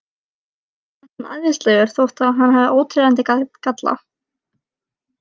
Henni finnst hann æðislegur þó að hann hafi óteljandi galla.